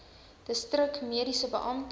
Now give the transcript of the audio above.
distrik mediese beampte